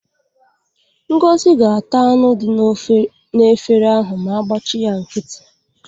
Ngozi ga-ata anụ dị n'efere ahụ ma a gbachi ya nkịtị.